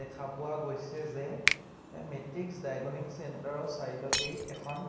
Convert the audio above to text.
দেখা পোৱা গৈছে যে এ মেট্ৰিস্ক ডাইগনিং চেন্টাৰ ৰ চাইড অতেই এখন--